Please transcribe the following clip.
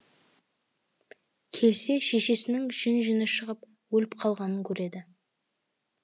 келсе шешесінің жүн жүні шығып өліп қалғанын көреді